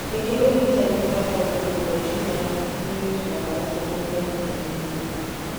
Kaingĩ ũrigitani ũkoragwo na kũrũnga tumor ya karcinoid na dawa cia kũhũthahũthia mĩrimũ.